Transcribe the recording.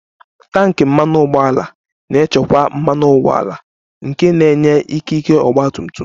Tanki mmanụ ụgbọala na-echekwa mmanụ ụgbọala nke na-enye ikike ọgba tum tum